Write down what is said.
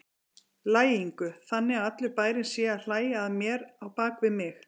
lægingu, þannig að allur bærinn sé að hlæja að mér á bak við mig.